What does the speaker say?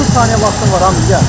30 saniyə vaxtım var, hamı gəl.